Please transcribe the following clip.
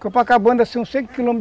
Copacabana são cinco quilôme